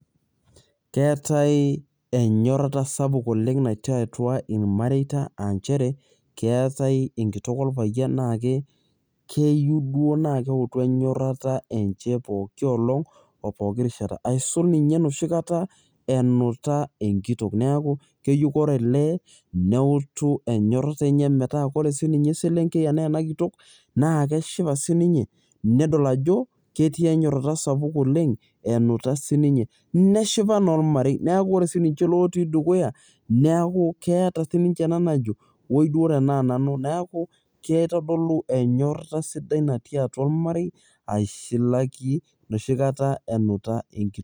keetae enyorata sapuk oleng natii atua irmareita, aa nchere ,keetae enkitok orpayian naa keyieu duo naa keutu enyorata enche pookin olong ahsu pooki rishata. eisul ninye enoshi kata, enuta enkitok, neku keyieu naa ore lee neutu enyorrata enye. metaa ore sii ninye eselenkei enaa ena kitok naa keshipa sii ninye nedol ajo, ketii enyorata sapuk olenge enuta, sii ninye neshipa naa olamrei, neeku ore sii ninche lotii dukuya, neeku keeta si ninche ena najo oi duo tenaa nanu, neeku kitodolu enyorata sidai natii atua olmarei, aisulaki enoshi kata enuta enkitok.